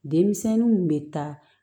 Denmisɛnninw bɛ taa